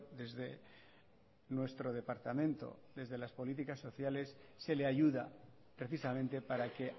desde nuestro departamento desde las políticas sociales se le ayuda precisamente para que